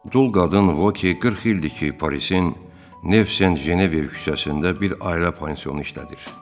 Dul qadın Voki 40 ildir ki, Parisin Neve de Janvive küçəsində bir ailə pansionu işlədir.